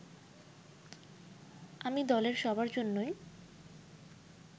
আমি দলের সবার জন্যই